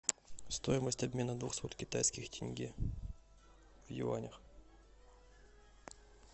стоимость обмена двухсот китайских тенге в юанях